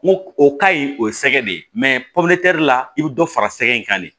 N ko o ka ɲi o ye sɛgɛ de ye la i bɛ dɔ fara sɛgɛn in kan de